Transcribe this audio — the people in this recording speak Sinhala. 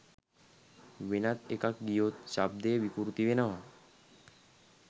වෙනත් එකක් ගියොත් ශබ්දය විකෘති වෙනවා.